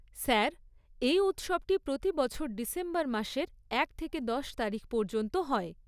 Sir, এই উৎসবটি প্রতি বছর ডিসেম্বর মাসের এক থেকে দশ তারিখ পর্যন্ত হয়।